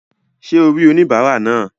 Sé o rí oníbàárà náà?